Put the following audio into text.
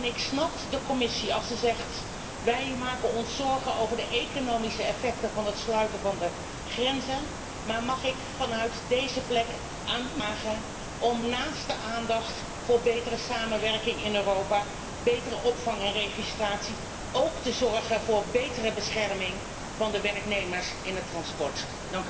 Ik snap de Commissie, als zij zegt wij maken ons zorgen over de economische effecten van het sluiten van de grenzen, maar mag ik u vanaf deze plek vragen om naast de aandacht voor betere samenwerking in Europa, betere opvang en registratie, ook te zorgen voor betere bescherming van de werknemers in de transportsector.